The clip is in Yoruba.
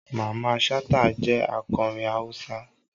Mamman Shata jẹ akọrin Hausa.